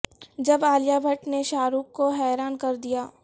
جب عالیہ بھٹ نے شاہ رخ کو حیران کر دیا